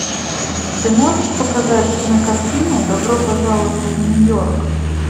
ты можешь показать кинокартину добро пожаловать в нью йорк